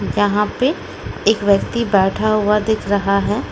यहां पे एक व्यक्ति बैठा हुआ दिख रहा है।